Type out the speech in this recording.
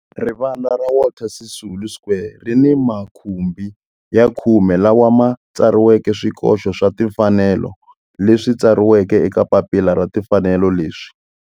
Rivala ra Walter Sisulu Square ri ni makhumbi ya khume lawa ma tsariweke swikoxo swa timfanelo leswi tsariweke eka papila ra timfanelo leswi.